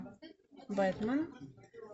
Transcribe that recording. бэтмен